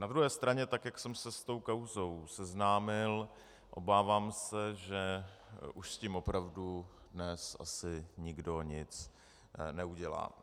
Na druhé straně tak jak jsem se s tou kauzou seznámil, obávám se, že už s tím opravdu dnes asi nikdo nic neudělá.